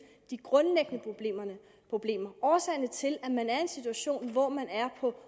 de grundlæggende problemer årsagerne til at man er i en situation hvor man er på